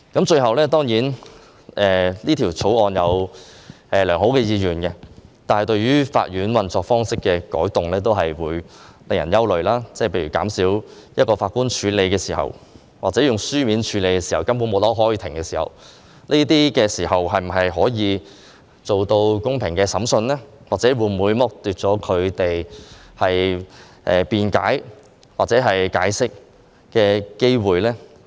最後，我認為《條例草案》有良好意願，但對於法院運作方式的改動，的確會令人憂慮；例如上訴法庭減少一名法官審理案件，或者法官以書面處理案件而不親身開庭進行聆訊，這些做法是否能夠做到公平審訊，會否剝奪有關人士辯解的機會呢？